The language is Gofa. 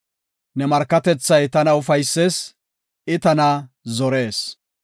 Ne markatethay tana ufaysees; I tana zorees.